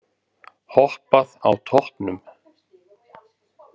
Hoppað á toppnum